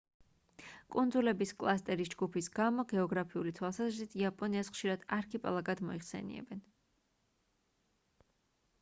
კუნძულების კლასტერის/ჯგუფის გამო გეოგრაფიული თვალსაზრისით იაპონიას ხშირად არქიპელაგად მოიხსენიებენ